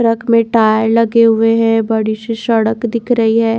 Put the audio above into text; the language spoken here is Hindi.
ट्रक में टायर लगे हुए हैं बड़ी सी सड़क दिख रही है।